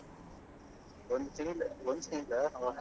ಒಂದು ತಿಂಗಳು ಒಂದು ತಿಂಗಳಾ ಹಾ ಹಾ.